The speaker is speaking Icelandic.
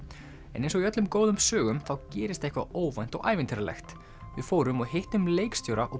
en eins og í öllum góðum sögum þá gerist eitthvað óvænt og ævintýralegt við fórum og hittum leikstjóra og